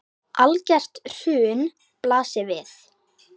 Algert hrun blasir við.